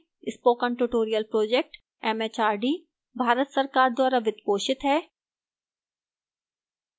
spoken tutorial project mhrd Bharat सरकार द्वारा वित्त पोषित है